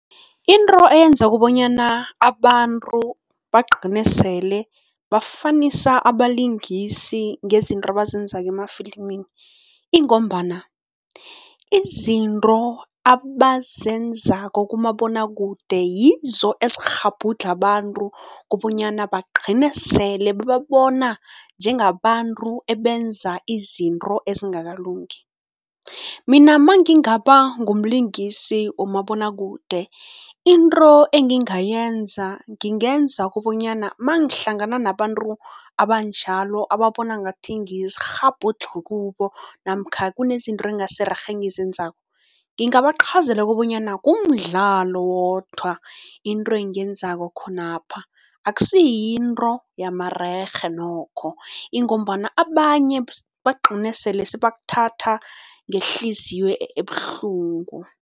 Into eyenza kobanyana abantu bagcine sele bafanisa abalingisi ngezinto abazenzako emafilimini ingombana izinto abazenzako kumabonwakude, yizo ezikghabhudlha abantu kobanyana bagcine sele bababona njengabantu abenza izinto ezingakalungi. Mina mangingaba ngumlingisi womabonwakude, into engingayenza ngingenza kobonyana mangihlangana nabantu abanjalo, ababona ngathi ngiyisikghabhudlho kubo namkha kunezinto engasirerhe engizenzako, ngingabachazela kobonyana kumdlalo wodwa into engiyenzako khonapha, akusiyinto yamarerhe nokho ingombana abanye bagcine sebakuthatha ngehliziyo ebuhlungu.